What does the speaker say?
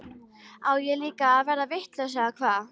Á ég þá líka að verða vitlaus eða hvað?